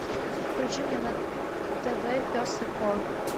включи мне на тв пес и ко